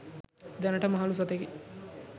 දැනට මහලූ සතෙකි.